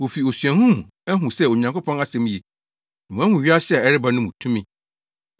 Wofi osuahu mu ahu sɛ Onyankopɔn asɛm ye, na wɔahu wiase a ɛreba no mu tumi.